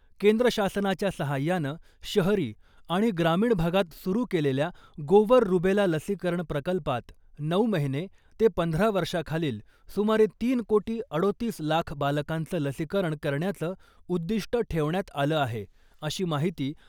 केंद्र शासनाच्या सहाय्यानं शहरी आणि ग्रामीण भागात सुरू केलेल्या गोवर रुबेला लसीकरण प्रकल्पात , नऊ महीने ते पंधरा वर्षाखालील सुमारे तीन कोटी अडोतीस लाख बालकांचं लसीकरण करण्याचं उद्दिष्ट ठेवण्यात आलं आहे अशी माहिती